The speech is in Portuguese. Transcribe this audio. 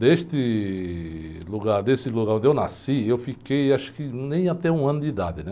Deste lugar, desse lugar onde eu nasci, eu fiquei acho que nem até um ano de idade, né?